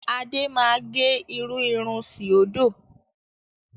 Adé máa gẹ irú irun síòdò.